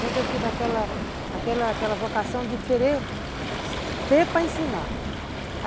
Sempre eu tive aquela aquela aquela vocação de querer ter para ensinar.